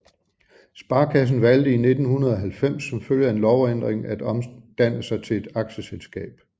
Sparekassen valgt i 1990 som følge af en lovændring at omdanne sig til et aktieselskab